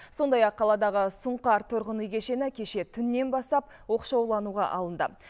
сондай ақ қаладағы сұңқар тұрғын үй кешені кеше түннен бастап оқшаулануға алынды